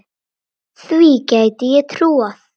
Því gæti ég trúað